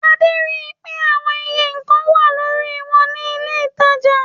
Adé ri pé àwon iye nǹkan wà lórí wọn ní ilé-ìtajà.